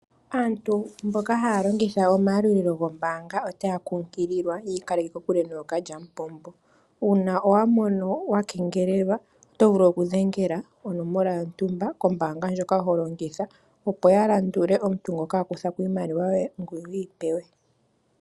Aantu mboka haya longitha omayalulilo goombanga otaya kunkililwa opo yiikaleke kokule nookalyampombo. Uuna wa mono wa keengelelwa oto vulu okudhengela onomola yontumba kombaanga ndjoka ho longitha, opo ya landule omuntu ngono aku thako iimaliwa yoye ngoye wiipewe.